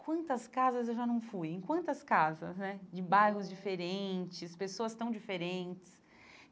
Quantas casas eu já não fui, em quantas casas né, de bairros diferentes, pessoas tão diferentes.